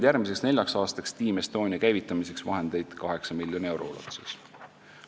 Järgmiseks neljaks aastaks oleme Team Estonia käivitamiseks leidnud 8 miljoni euro ulatuses vahendeid.